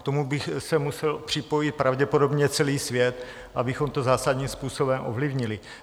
K tomu by se musel připojit pravděpodobně celý svět, abychom to zásadním způsobem ovlivnili.